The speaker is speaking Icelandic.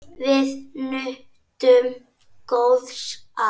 Við nutum góðs af.